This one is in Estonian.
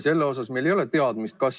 Selle osas meil ei ole mingit teadmist.